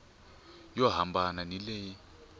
yo hambana ni leyi yi